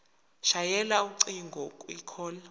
shayela ucingo kwicall